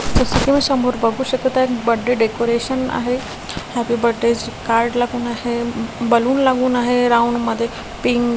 तुम्ही समोर बघू शकता बर्थडे डेकोरेशन आहे हॅप्पी बर्थडे कार्ड लागून आहे बलून लागून आहे राऊंड मध्ये पिंक --